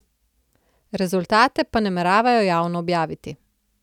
Rezultate pa nameravajo javno objaviti.